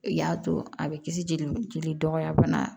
I y'a to a bɛ kisi joli joli dɔgɔya fana